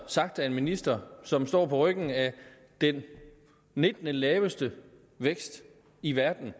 sagt af en minister som står på ryggen af den nittende laveste vækst i verden